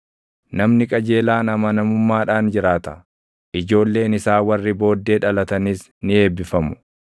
Namni qajeelaan amanamummaadhaan jiraata; ijoolleen isaa warri booddee dhalatanis ni eebbifamu.